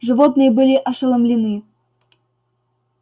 животные были ошеломлены